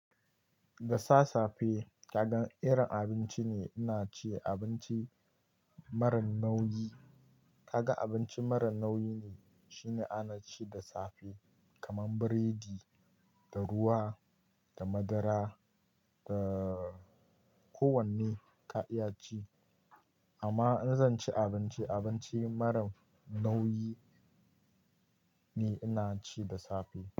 Dasa safe kaga irin abinci ne ina ci abinci marar nauyi. Kaga abinci marar nauyi ne shine ana ci da safe kaman biredi da ruwa da madara da ko wanne ka iya ci. Amma in zan ci abinci, abinci marar nauyi ne ina ci da safe.